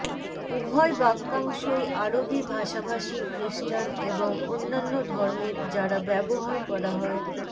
উভয় বাক্যাংশই আরবি ভাষাভাষী খ্রিস্টান এবং অন্যান্য ধর্মের যারা ব্যবহার করা হয়